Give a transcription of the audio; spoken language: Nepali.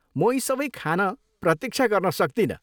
म यी सबै खान प्रतीक्षा गर्न सक्दिनँ।